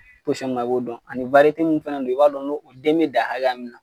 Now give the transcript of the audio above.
min na i b'o dɔn ani min fana don i b'a dɔn o den bɛ dan hakɛ min na